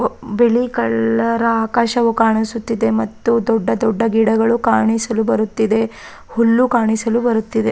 ಒಬ್ ಬಿಳಿ ಕಲ್ಲರ ಆಕಾಶವು ಕಾಣಿಸುತ್ತಿದೆ ಮತ್ತು ದೊಡ್ಡ ದೊಡ್ದ ಗಿಡಗಳು ಕಾಣಿಸಲು ಬರುತ್ತಿದೆ ಹುಲ್ಲು ಕಾಣಿಸಲು ಬರುತ್ತಿದೆ.